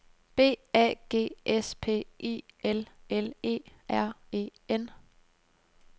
B A G S P I L L E R E N